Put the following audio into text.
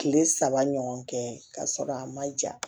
Kile saba ɲɔgɔn kɛ ka sɔrɔ a ma ja